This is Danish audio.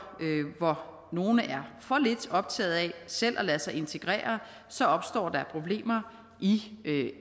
hvor nogle er for lidt optaget af selv at lade sig integrere så opstår der problemer i